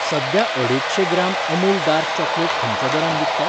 सध्या अडेजशें gram Amul dark chocolate खंयच्या दरान विकतात?